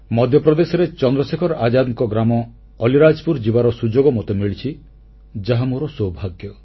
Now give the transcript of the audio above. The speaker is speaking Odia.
ମଧ୍ୟପ୍ରଦେଶରେ ଚନ୍ଦ୍ରଶେଖର ଆଜାଦଙ୍କ ଗ୍ରାମ ଅଲିରାଜପୁର ଯିବାର ସୁଯୋଗ ମୋତେ ମିଳିଛି ଯାହା ମୋର ସୌଭାଗ୍ୟ